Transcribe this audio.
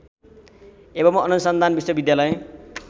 एवं अनुसन्धान विश्वविद्यालय